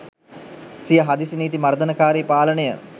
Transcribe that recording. සිය හදිසි නීති මර්දනකාරී පාලනය